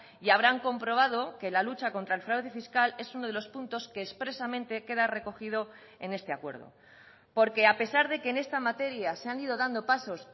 y habrán comprobado que la lucha contra el fraude fiscal es uno de los puntos que expresamente queda recogido en este acuerdo porque a pesar de que en esta materia se han ido dando pasos